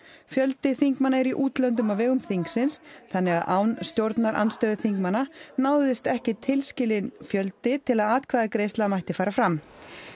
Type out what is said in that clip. fjöldi þingmanna er í útlöndum á vegum þingsins þannig að án stjórnarandstöðuþingmanna náðist ekki tilskilinn fjöldi til að atkvæðagreiðsla mætti fara fram